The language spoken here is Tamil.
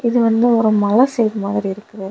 இது வந்து ஒரு மல சைடு மாதிரி இருக்குது.